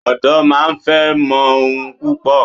Odo máa ń fẹ́ mọ ohun púpò.